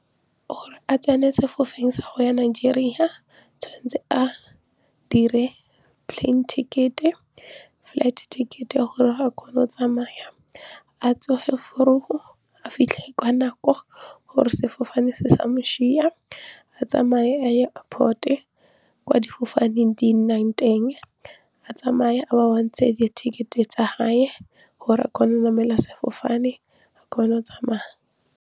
Gore a tsene sa go ya Nigeria tshwanetse a dire plane ticket-e, flight ticket-e ya gore a kgone go tsamaya a tsoge vroeg a fitlhe ka nako gore sefofane se sa mo sia a tsamaye a ye airport-e kwa difofane di nnang teng a tsamaye a ba bontshe di-ticket-e tsa hae gore a kgone go namela sefofane a kgone go tsamaya.